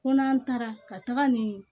Ko n'an taara ka taga ni